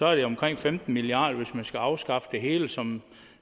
er det omkring femten milliard kr hvis man skal afskaffe det hele som